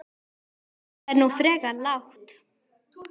Þetta er nú frekar lágt